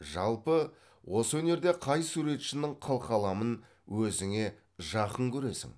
жалпы осы өнерде қай суретшінің қылқаламын өзіңе жақын көресің